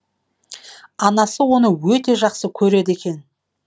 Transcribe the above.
анасы оны өте жақсы көреді екен